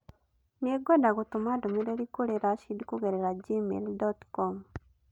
Nĩngwenda gũtũma ndũmĩrĩri kũrĩ Rashid kũgerera gmail.com